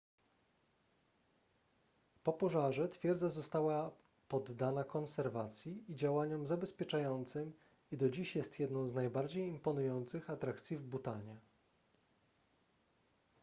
po pożarze twierdza została poddana konserwacji i działaniom zabezpieczającym i do dziś jest jedną z najbardziej imponujących atrakcji w bhutanie